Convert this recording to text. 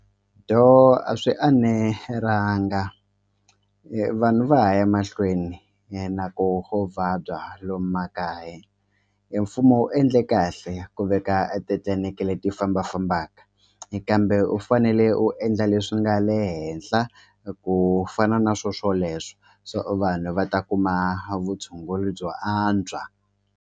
Do a swi anelanga vanhu va ha ya mahlweni na ku ku vabya lomu makaya mfumo wu endle kahle ku veka eti-clinic-i le ti fambafambaka kambe fanele u endla leswi nga le henhla ku fana na swo swoleswo so vanhu va ta kuma vutshunguri byo antswa.